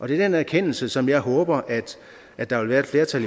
det er den erkendelse som jeg håber at der vil være et flertal